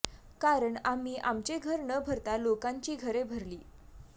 कारण आम्ही आमचे घर न भरता लोकांची घरे भरली